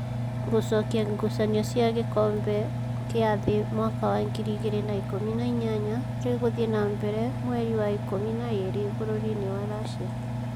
Gũcokia gucanio cia gĩkombe kĩa thĩ mwaka wa ngiri igĩrĩ na ikũmi na inyanya rĩgũthiĩ na mbere mweri wa ikũmi na ĩĩrĩ bũrũri-inĩ wa Racia